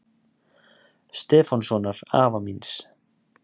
Stefánssonar afa míns.